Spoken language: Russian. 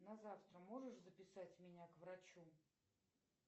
на завтра можешь записать меня к врачу